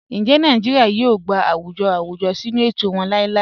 Ńjẹ́ Nàìjíríà yóò gbà àwùjọ̀ àwùjọ̀ sínu ètò wọn làìlàì?"